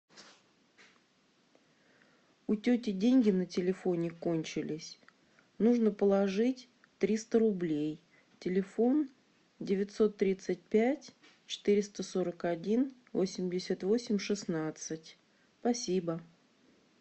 у тети деньги на телефоне кончились нужно положить триста рублей телефон девятьсот тридцать пять четыреста сорок один восемьдесят восемь шестнадцать спасибо